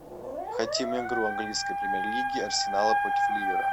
хотим игру английской премьер лиги арсенала против ливера